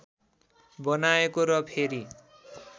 बनाएको र फेरि